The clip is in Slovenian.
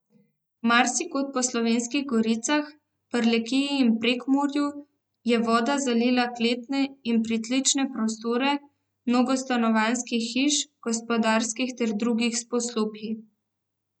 Marsikod po Slovenskih goricah, Prlekiji in Prekmurju je voda zalila kletne in pritlične prostore mnogo stanovanjskih hiš, gospodarskih ter drugih poslopij.